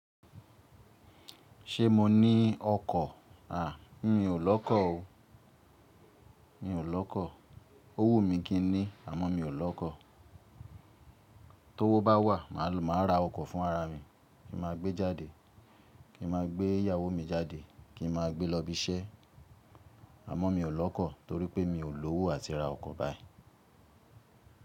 Ṣé mo ní ọkọ̀? À, mi ò lọ́kọ̀ o. N ò lọ́kọ̀. O wù mi kí n ní? Àmọ́ mi ò lọ́kọ̀. Tówó bá wà, máa ra ọkọ̀ fún ara mi. Kí n ma gbé jáde. Kí ma gbé ìyàwó mi jáde. Kí n ma gbé lọ́ ibi iṣẹ́. Àmọ́ mi ò lọ́kọ̀ torí pé mi ò lówó àti ra ọkọ̀ báyi.